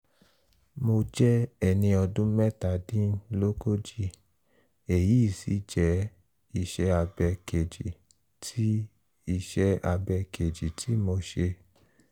mo jẹ́ ẹni ọdún mẹ́tà-dín-lógójì èyí sì jẹ́ ìṣẹ́-abẹ kejì tí ìṣẹ́-abẹ kejì tí mo ṣe